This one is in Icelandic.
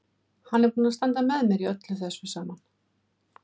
Hann er búinn að standa með mér í þessu öllu saman.